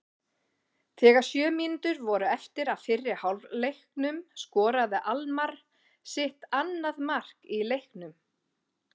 Þegar sjö mínútur voru eftir af fyrri hálfleiknum skoraði Almarr sitt annað mark í leiknum.